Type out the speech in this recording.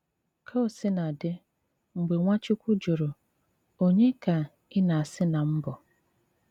Kà ò sìnà dị, mgbè Nwáchùkwù jụrụ, “Ònye ka ị na-asị ná m bụ́?”